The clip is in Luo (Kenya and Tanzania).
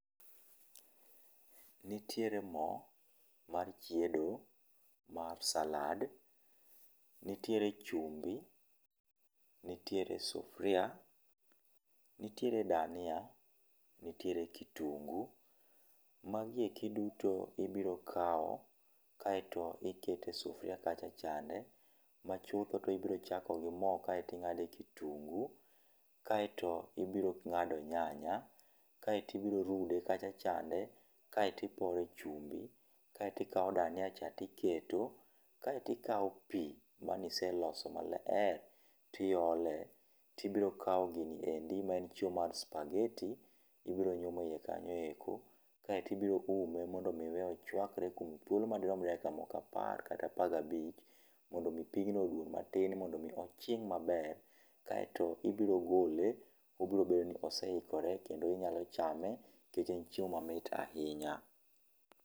Nitiere mo mar chiedo mar salad, nitiere chumbi, nitiere sufria, nitiere dania, nitiere kitungi. Magi eki duto ibiro kawo, kaeto iketo e sufria kacha chande, machutho to ibiro chako gi mo, kaeto ing'ade kitungu, kaeto ibiro ng'ade nyanya kaeto ibiro rude kacha chande. Kae to ipore chumbi, kaeto ikawo dania tiketo. Kae to ikawo pi mane iseloso maler, tiole, tibiro kawo gini endi maen chiemo mar spagheti, ibiro nyumo eiye kanyo eko. Kaeto ibiro ume, mondo mi iweye ochuakre kuom thuolo madirom dakika moko apar kata apar gabich. Mondo mi pigno oduon matin, mondo mi ochin maber. Kaeto ibiro gole , obiro bedo ni ose ikore, inyalo chame nikech en chiemo mamit ahinya.